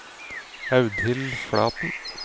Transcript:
Audhild Flaten